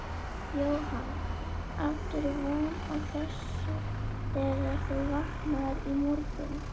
Jóhann: Áttirðu von á þessu þegar þú vaknaðir í morgun?